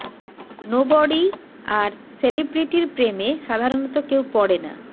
nobody আর সেলিব্রিটির প্রেমে সাধারণত কেউ পড়ে না